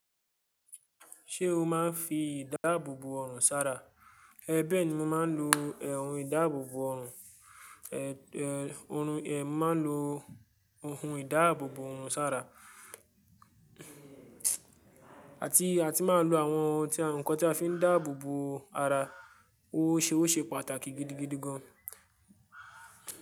Ṣé o máa ń fi ìdáàbòbò ọrùn sára? É bẹ́ẹ̀ ni mo máa ń lo ẹ̀hùn ìdáàbòbò ọrùn, ẹ̀, ẹ̀, orùn, ẹ́, màá lo ohun ìdáàbòbò ọrùn sára. Àti a ti máa ń lo àwọn ohun tí, nǹkan tí a fi ń dáàbò bo ara. Ó ṣe, ó ṣe pàtàkì gidigidi gan.